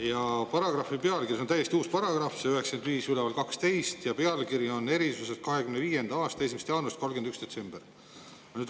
… ja paragrahvi pealkiri – see on täiesti uus paragrahv, see 9512, ja pealkiri on " erisused 2025. aasta 1. jaanuarist kuni 31. detsembrini".